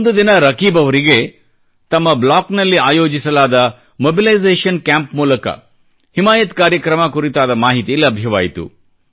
ಒಂದು ದಿನ ರಕೀಬ್ ಅವರಿಗೆ ತಮ್ಮ ಬ್ಲಾಕ್ನಲ್ಲಿ ಆಯೋಜಿಸಲಾದ ಮೊಬಿಲೈಸೇಶನ್ ಕ್ಯಾಂಪ್ ಮೂಲಕ ಹಿಮಾಯತ್ ಕಾರ್ಯಕ್ರಮ ಕುರಿತಾದ ಮಾಹಿತಿ ಲಭ್ಯವಾಯಿತು